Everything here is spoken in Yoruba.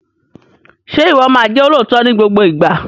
Ṣé o máa jẹ́ olóòótọ́ ní gbogbo ìgbà?